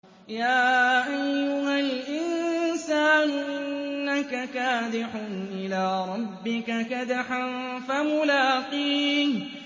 يَا أَيُّهَا الْإِنسَانُ إِنَّكَ كَادِحٌ إِلَىٰ رَبِّكَ كَدْحًا فَمُلَاقِيهِ